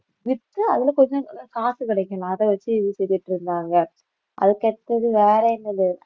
with அதுல கொஞ்சம் காசு கிடைக்கணும் அதை வச்சு வித்துக்கிட்டு இருந்தாங்க அதுக்கடுத்தது வேற என்னது